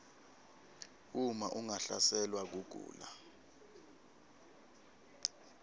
uma ungahlaselwa kugula